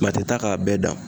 taa k'a bɛɛ dan